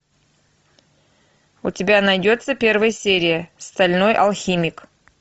у тебя найдется первая серия стальной алхимик